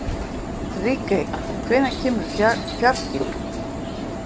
Ríkey, hvenær kemur fjarkinn?